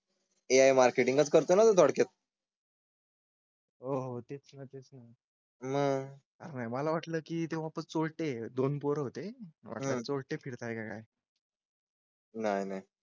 AI marketing करतोय ना थोडक्यात. हो हो तेच. ना तेच. ना मग? आहे. मला वाटलं की ते वापस ओटे दोन पोर होते आहे. छोटे फिरताय. नाही नाही